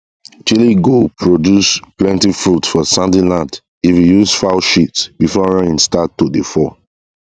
chili go produce plenty fruit for sandy land if you use fowl shit before rain start to dey fall